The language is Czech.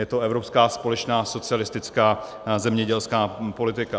Je to evropská společná socialistická zemědělská politika.